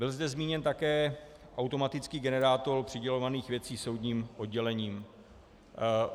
Byl zde zmíněn také automatický generátor přidělovaných věcí soudním oddělením.